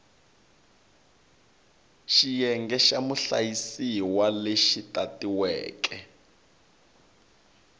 xiyenge xa muhlayisiwa lexi tatiweke